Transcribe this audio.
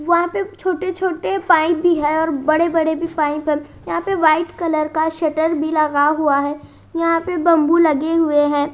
वहां पे छोटे छोटे पाइप भी है और बड़े बड़े भी पाइप है यहां पे व्हाइट कलर का शटर भी लगा हुआ है यहां पे बम्बू लगे हुए हैं।